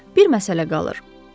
Bir məsələ qalır.